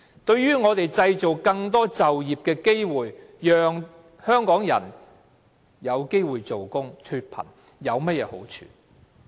對製造更多就業機會，讓香港人有機會工作、脫貧，有甚麼好處？